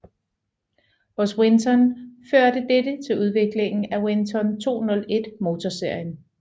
Hos Winton førte dette til udviklingen af Winton 201 motorserien